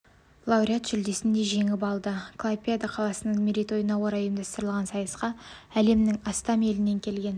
лауреат жүлдесін де жеңіп алды клайпеда қаласының мерейтойына орай ұйымдастырылған сайысқа әлемнің астам елінен келген